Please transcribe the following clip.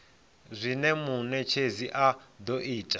zwine munetshedzi a do ita